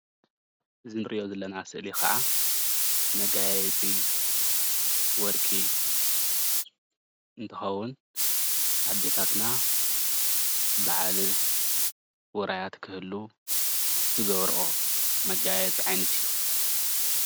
እዚ እንሪኦ ስእሊ ከዓ መጋየፂ እዩ። ወርቂ እንትከውን ኣዴታትና በዓልን ውራያትን እንትህሉ ዝገብርኦ መጋየፂ ዓይነት እዩ፡፡